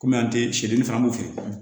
Kɔmi an tɛ sirili fana an b'o kɛ